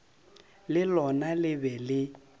le lona le be le